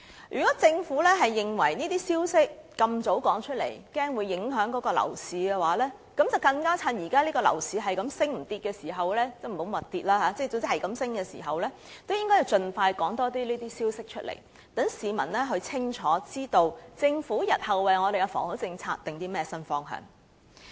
如果政府認為過早公布這些消息會影響樓市，便更應趁現時樓市只升不跌，盡快多公布這些消息，讓市民清楚知道政府日後為我們的房屋政策訂定了甚麼新方向。